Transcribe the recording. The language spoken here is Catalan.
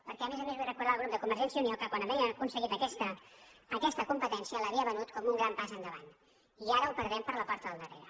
perquè a més a més vull recordar al grup de convergència i unió que quan havia aconseguit aquesta competència l’havia venut com un gran pas endavant i ara ho per·dem per la porta del darrere